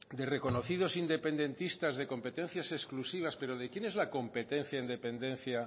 de reconocidos independentistas de competencias exclusivas pero de quién es la competencia en dependencia